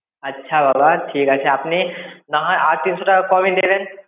আচ্ছা বাবা ঠিক আছে আপনি নাহয় আর তিনশো টাকা কমই দেবেন.